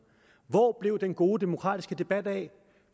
hvor blev den gode demokratiske debat af